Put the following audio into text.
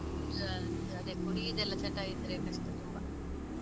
ಆ ಅದೇ ಕುಡಿಯುದೆಲ್ಲ ಚಟ ಇದ್ರೆ ಕಷ್ಟ ತುಂಬಾ.